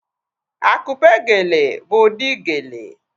Akupe geele bụ ụdị geele